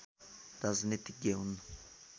राजनीतिज्ञ हुन्